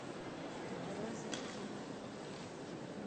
розеткит